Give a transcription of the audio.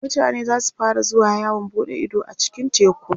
mutane zasu fara zuwa yawon buɗe Ido a cikin teku